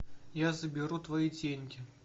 я заберу твои деньги